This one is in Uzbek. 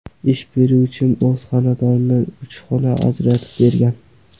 Ish beruvchim o‘z xonadonidan uch xona ajratib bergan.